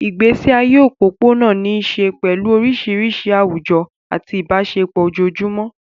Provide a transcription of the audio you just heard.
Ìgbésí ayé òpópónà ní í ṣe pẹ̀lú oríṣiríṣi àwùjọ àti ìbáṣepọ̀ ojoojúmọ́.